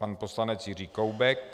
Pan poslanec Jiří Koubek.